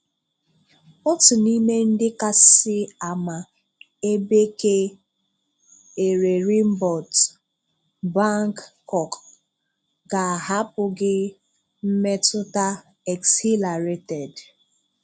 Otu n’ime ndị kasị ama ebe ke Ererimbòt, Bangkok ga-ahàpụ̀ gị mmetùta exhìlàrèted.